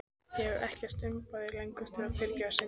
Ég hef ekkert umboð lengur til að fyrirgefa syndir.